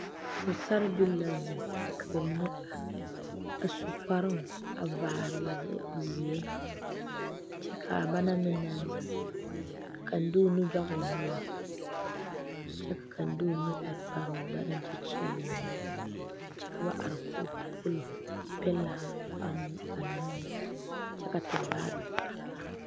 pɔsaraa bile la zeŋ ka ba mine are a su kparoo ka kaŋ vaare wagye zeɛ kyɛ kaa ba naŋ meŋ na zeŋ a ka kaŋa te o nu kyɔŋ o noɔre kyɛ ka kaŋ a de o nu a pare o gbɛreŋ kyɛ kyeele o nyuu kyɛ ka ba are koge pollo peɛle ba naŋ mɛ kyɛ ka tevaare are are